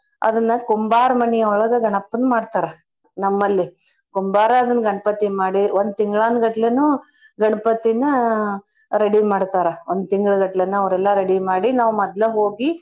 ಅದನ್ನ ಕುಂಬಾರ ಮನಿ ಒಳಗ ಗಣಪನ್ ಮಾಡ್ತಾರಾ ನಮ್ಮಲ್ಲಿ. ಕುಂಬಾರ ಅದನ್ ಗಣ್ಪತಿ ಮಾಡಿ ಒಂದ್ ತಿಂಗಳಾನ್ಗಟ್ಲೆನೂ ಗಣಪತಿನ ready ಮಾಡ್ತಾರ. ಒಂದ್ ತೀಂಗ್ಳಗಟ್ಲೆನ ಅವ್ರೆಲ್ಲ ready ಮಾಡಿ ನಾವ್ ಮದ್ಲ ಹೋಗಿ.